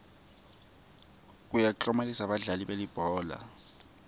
yekuklomelisa badlali belibhola